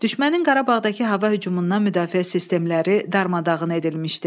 Düşmənin Qarabağdakı hava hücumundan müdafiə sistemləri darmadağın edilmişdi.